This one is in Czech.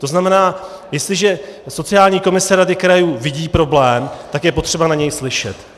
To znamená, jestliže sociální komise rady krajů vidí problém, tak je potřeba na něj slyšet.